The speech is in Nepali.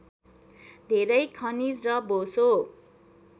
धेरै खनिज र बोसो